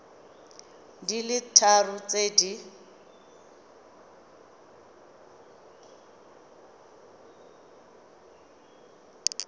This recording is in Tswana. di le tharo tse di